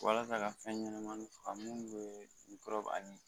Walasa ka fɛn ɲɛnamaninw faga mun bɛ n kɔrɔ ani